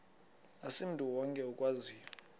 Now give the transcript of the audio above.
asimntu wonke okwaziyo